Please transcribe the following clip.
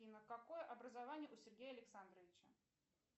афина какое образование у сергея александровича